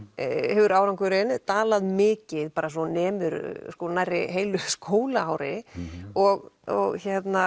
hefur árangurinn dalað mikið svo nemur nærri heilu skólaári og og